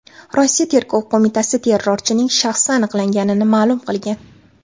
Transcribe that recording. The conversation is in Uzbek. Rossiya Tergov qo‘mitasi terrorchining shaxsi aniqlanganini ma’lum qilgan.